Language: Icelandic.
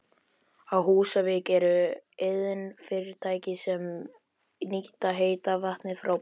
Á Húsavík eru iðnfyrirtæki sem nýta heita vatnið frá borholunum.